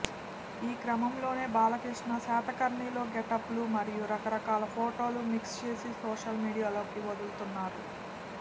ఈ క్రమంలోనే బాలకృష్ణ శాతకర్ణిలో గెటప్లు మరియు రకరకాల ఫోటోలు మిక్స్ చేసి సోషల్ మీడియాలోకి వదుల్తున్నారు